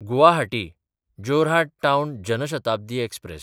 गुवाहाटी–जोऱ्हाट town Jan Shatabdi express